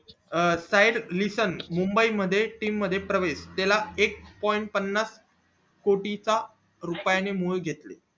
अं side listen Mumbai मध्ये team मध्ये प्रवेश त्याला एक point पन्नास कोटींचा रुपयांनी मूळ घेतलं